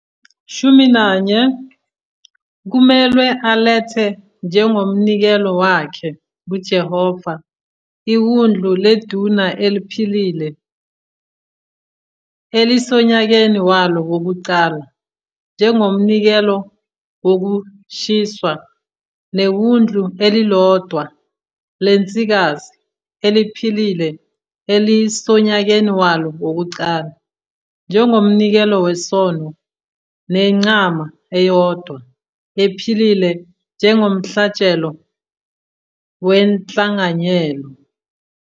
14 Kumelwe alethe njengomnikelo wakhe kuJehova iwundlu leduna eliphilile elisonyakeni walo wokuqala njengomnikelo wokushiswa, newundlu elilodwa lensikazi eliphilile elisonyakeni walo wokuqala njengomnikelo wesono, nenqama eyodwa ephilile njengomhlatshelo wenhlanganyelo,